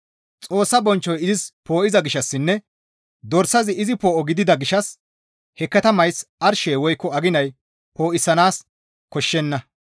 Xoossa bonchchoy izis poo7iza gishshassinne Dorsazi izi poo7o gidida gishshas he katamays arshey woykko aginay poo7isanaas koshshenna.